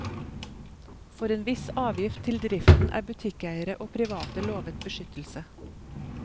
For en viss avgift til driften er butikkeiere og private lovet beskyttelse.